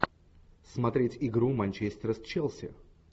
смотреть игру манчестер с челси